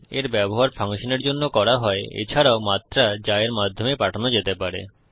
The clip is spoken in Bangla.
এর ব্যবহার ফাংশনের জন্য করা হয়এছাড়াও মাত্রা যা এর মাধ্যমে পাঠানো যেতে পারে